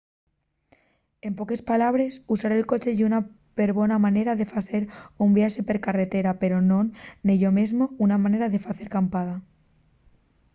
en poques palabres usar el coche ye una perbona manera de facer un viaxe per carretera pero non nello mesmo una manera de facer acampada